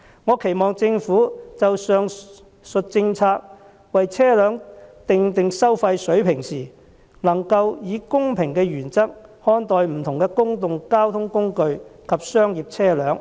我期望政府就上述政策為車輛訂定收費水平時，能夠以公平原則看待不同的公共交通工具及商業車輛。